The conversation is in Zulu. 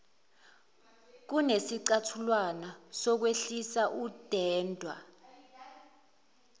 kunesicathulwana sokwehlisa udenda